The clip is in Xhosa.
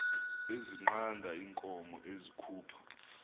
ezinqanda iinkomo ezikhupha